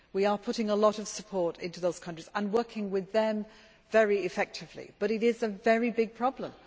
We are putting a lot of support into those countries and working with them very effectively but it is a very big problem.